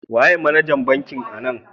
Waye managan bankin anan?